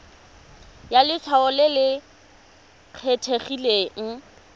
ya letshwao le le kgethegileng